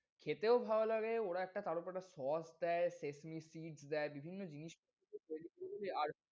খেতেও ভাল লাগে ওরা একটা তারওপর একটা sauce দেয়, Szechuan cheese দেয় বিভিন্ন জিনিস দেয়। আর,